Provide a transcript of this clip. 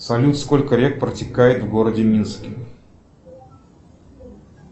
салют сколько рек протекает в городе минске